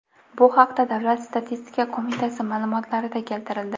Bu haqda Davlat statistika qo‘mitasi ma’lumotlarida keltirildi .